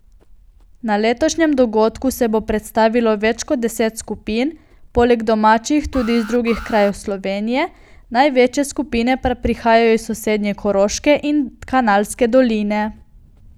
Na letošnjem dogodku se bo predstavilo več kot deset skupin, poleg domačih tudi iz drugih krajev Slovenije, največje skupine pa prihajajo iz sosednje Koroške in Kanalske doline.